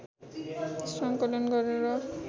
सङ्कलन गरेर